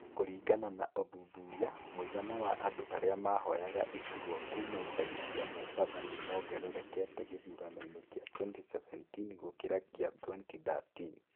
Kũringana na ũthuthuria, mũigana wa andũ arĩa mahoyaga iturwa kuuma icagi cia Mombatha nĩ mongererekete gĩthurano-inĩ kĩa 2017 gũĩkĩra kĩa 2013.